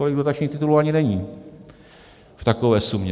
Tolik dotačních titulů ani není v takové sumě.